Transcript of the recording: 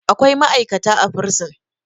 akwai ma'aikata a bursin